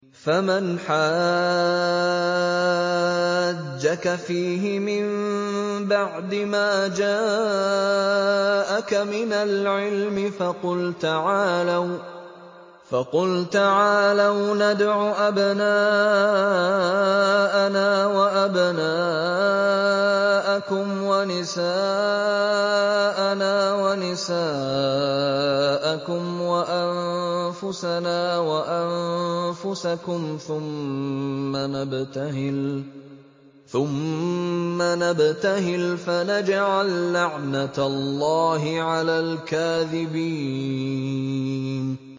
فَمَنْ حَاجَّكَ فِيهِ مِن بَعْدِ مَا جَاءَكَ مِنَ الْعِلْمِ فَقُلْ تَعَالَوْا نَدْعُ أَبْنَاءَنَا وَأَبْنَاءَكُمْ وَنِسَاءَنَا وَنِسَاءَكُمْ وَأَنفُسَنَا وَأَنفُسَكُمْ ثُمَّ نَبْتَهِلْ فَنَجْعَل لَّعْنَتَ اللَّهِ عَلَى الْكَاذِبِينَ